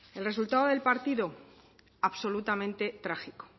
el resultado del partido absolutamente trágico